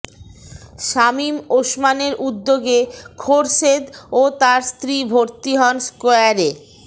শামীম ওসমানের উদ্যোগে খোরশেদ ও তার স্ত্রী ভর্তি হন স্কয়ারে